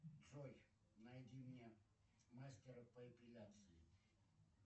джой найди мне мастера по эпиляции